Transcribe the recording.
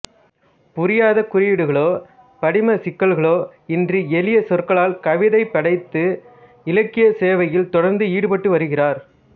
புரியாத குறியீடுகளோ படிமச் சிக்கல்களோ இன்றி எளிய சொற்களால் கவிதை படைத்து இலக்கியச் சேவையில் தொடர்ந்து ஈடுபட்டு வருகிறார்